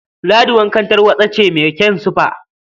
Ladi wankan tarwaɗa ce mai kyan sifa.